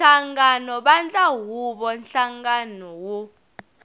nhlangano vandla huvo nhlangano wo